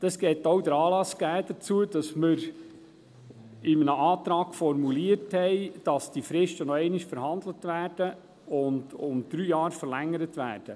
Dies gab auch den Anlass dazu, dass wir in einem Antrag formuliert haben, dass die Fristen noch einmal verhandelt und um drei Jahre verlängert werden.